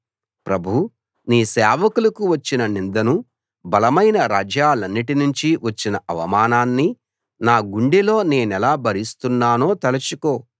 ప్రభూ నీ సేవకులకు వచ్చిన నిందను బలమైన రాజ్యాలన్నిటి నుంచి వచ్చిన అవమానాన్ని నా గుండెలో నేనెలా భరిస్తున్నానో తలచుకో